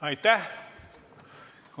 Aitäh!